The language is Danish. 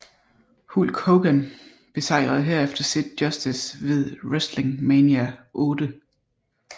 Hulk Hogan besejrede herefter Sid Justice ved WrestleMania VIII